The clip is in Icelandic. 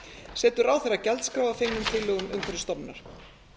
setur ráðherra gjaldskrá að fengnum tillögum umhverfisstofnunar